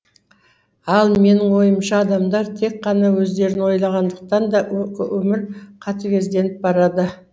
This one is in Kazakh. ал менің ойымша адамдар тек қана өздерін ойлағандықтан да өмір қатігезденіп барады